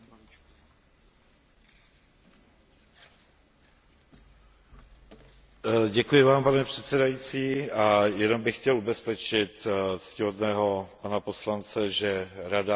Pane předsedající, jenom bych chtěl ubezpečit ctihodného pana poslance, že Rada si uvědomuje, že se jedná o závažnou činnost, která skutečně ohrožuje